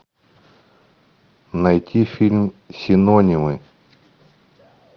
найти фильм синонимы